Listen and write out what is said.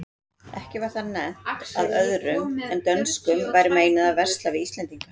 Ekki var þar nefnt að öðrum en dönskum væri meinað að versla við íslendinga.